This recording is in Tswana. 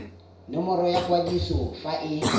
nomoro ya kwadiso fa e